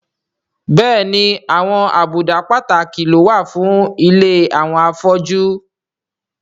Bẹ́ẹ̀ni àwọn àbùdá pàtàkì ló wà fún ilé àwọn afọ́jú